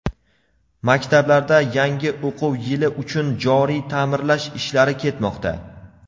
Maktablarda yangi o‘quv yili uchun joriy taʼmirlash ishlari ketmoqda.